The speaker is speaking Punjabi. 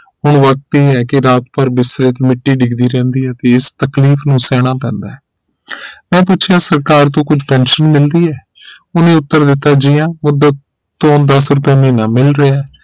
ਹੁਣ ਵਕਤ ਇਹ ਹੈ ਕੀ ਰਾਤ ਭਰ ਬਿਸਤਰੇ ਤੇ ਮਿੱਟੀ ਡਿੱਗਦੀ ਰਹਿੰਦੀ ਹੈ ਤੇ ਇਸ ਤਕਲੀਫ ਨੂੰ ਸਹਿਣਾ ਪੈਂਦਾ ਹੈਮੈਂ ਪੁੱਛਣਾ ਸਰਕਾਰ ਤੋਂ ਕੁਛ ਪੈਨਸ਼ਨ ਮਿਲਦੀ ਹੈ ਉਹਨੇ ਉੱਤਰ ਦਿੱਤਾ ਜੀ ਹਾਂ ਮੂਦਤ ਤੋ ਦਸ ਰੁਪੇ ਮਹੀਨਾ ਮਿਲ ਰਿਹਾ